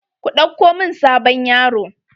Ku ɗauko mun sabon yaro.